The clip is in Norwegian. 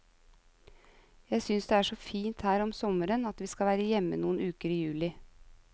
Jeg synes det er så fint her om sommeren at vi skal være hjemme noen uker i juli.